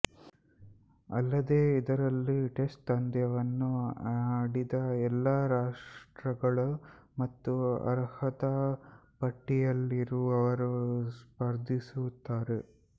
ಅಲ್ಲದೇ ಇದರಲ್ಲಿ ಟೆಸ್ಟ್ಪಂದ್ಯವನ್ನು ಆಡಿದ ಎಲ್ಲಾ ರಾಷ್ಟ್ರಗಳು ಮತ್ತು ಅರ್ಹತಾ ಪಟ್ಟಿಯಲ್ಲಿರುವವರು ಸ್ಪರ್ಧಿಸುತ್ತಾರೆ